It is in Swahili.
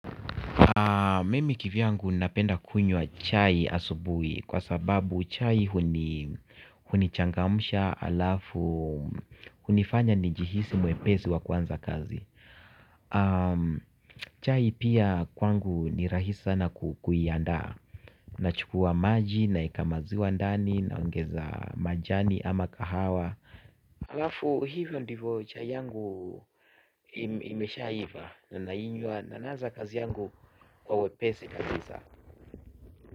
Mimi kivi yangu napenda kunywa chai asubuhi kwa sababu chai hunichangamsha halafu hunifanya nijihisi mwepesi wa kuanza kazi. Chai pia kwangu ni rahisi sana kuianda nachukua maji naeka maziwa ndani naongeza majani ama kahawa. Halafu hivyo ndivyo chai yangu imeshaiva nainywa na naanza kazi yangu kwa wepesi kabisa.